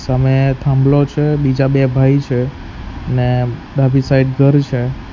સામે થાંભલો છે બીજા બે ભાઈ છે ને ડાબી સાઈડ ઘર છે.